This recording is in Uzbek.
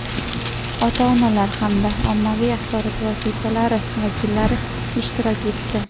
ota-onalar hamda ommaviy axborot vositalari vakillari ishtirok etdi.